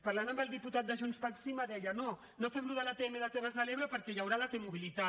parlant amb el diputat de junts pel sí me deia no no fem això de l’atm de les terres de l’ebre perquè hi haurà la t mobilitat